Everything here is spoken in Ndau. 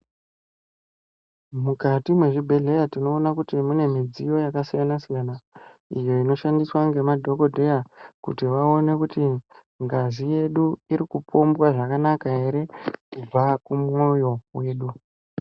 Mukati mwezvibhedhleya tinona kuti munemidziyo yakasiyana-siyana. Iyo inoshandiswa ndemadhokodheya kuti vaone kuti ngazi yedu iri kupombwa zvakanaka ere, kubva kumwoyo wedu.